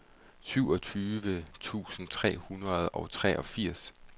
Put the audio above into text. syvogtyve tusind tre hundrede og treogfirs